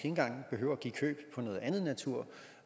engang behøver at give køb på noget andet natur